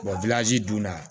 dunna